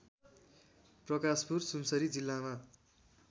प्रकाशपुर सुनसरी जिल्लामा